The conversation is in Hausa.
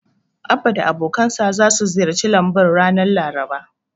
Abba da abokansa zasu ziyarci lambun ranar Laraba.